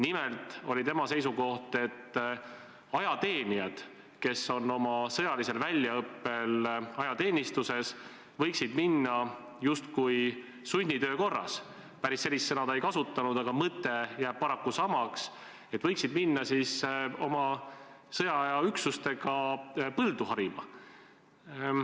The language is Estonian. Nimelt oli tema seisukoht, et ajateenijad, kes on sõjalisel väljaõppel ajateenistuses, võiksid minna justkui sunnitöö korras – päris sellist sõna ta ei kasutanud, aga mõte jääb paraku samaks – oma üksustega põldu harima.